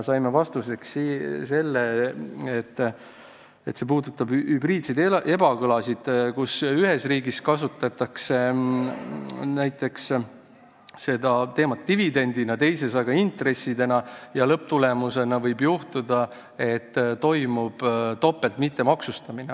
Saime komisjonis vastuseks, et see puudutab hübriidseid ebakõlasid, kui ühes riigis käsitatakse näiteks midagi dividendina, teises aga intressina, ja lõpptulemusena võib juhtuda, et toimub topelt mittemaksustamine.